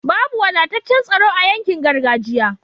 Babu wadataccan tsaro a yankin gargajiya